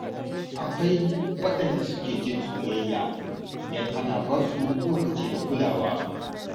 Akwai waɗanda suke jin soyayya idan ana ba su lokaci da kulawa.